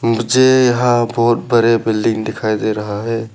मुझे यहां बहुत बड़े बिल्डिंग दिखाई दे रहा है।